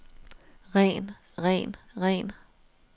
ren ren ren